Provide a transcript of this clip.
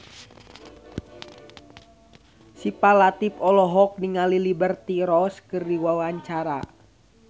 Syifa Latief olohok ningali Liberty Ross keur diwawancara